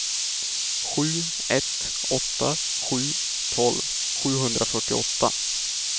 sju ett åtta sju tolv sjuhundrafyrtioåtta